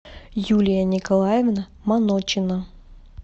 юлия николаевна маночина